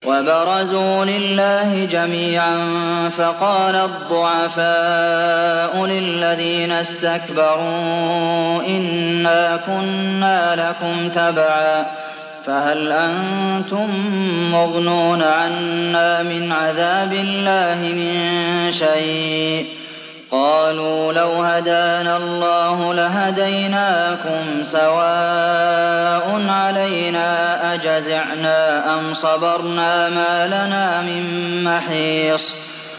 وَبَرَزُوا لِلَّهِ جَمِيعًا فَقَالَ الضُّعَفَاءُ لِلَّذِينَ اسْتَكْبَرُوا إِنَّا كُنَّا لَكُمْ تَبَعًا فَهَلْ أَنتُم مُّغْنُونَ عَنَّا مِنْ عَذَابِ اللَّهِ مِن شَيْءٍ ۚ قَالُوا لَوْ هَدَانَا اللَّهُ لَهَدَيْنَاكُمْ ۖ سَوَاءٌ عَلَيْنَا أَجَزِعْنَا أَمْ صَبَرْنَا مَا لَنَا مِن مَّحِيصٍ